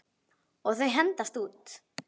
Og þau hendast út.